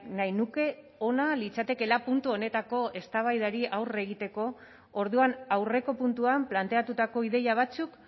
nahi nuke ona litzatekeela puntu honetako eztabaidari aurre egiteko orduan aurreko puntuan planteatutako ideia batzuk